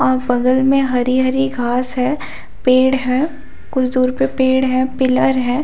बगल मे हरी - हरी घास है पेड़ है कुछ दूर पे पेड़ है पिलर है।